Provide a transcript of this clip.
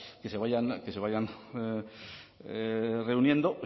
que se vayan reuniendo